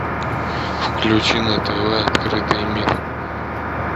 включи на тв открытый мир